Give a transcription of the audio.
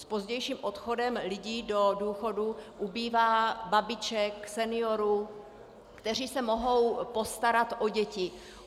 S pozdějším odchodem lidí do důchodu ubývá babiček, seniorů, kteří se mohou postarat o děti.